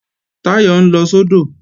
Táyọ̀ ń lọ sódò